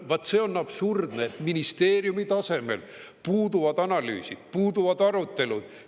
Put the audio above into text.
Vaat see on absurdne, et ministeeriumi tasemel puuduvad analüüsid, puuduvad arutelud.